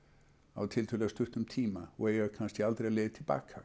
á tiltölulega stuttum tíma og eiga kannski aldrei leið til baka